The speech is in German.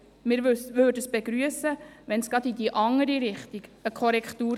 Wir würden es begrüssen, wenn es eine Korrektur in die andere Richtung gäbe.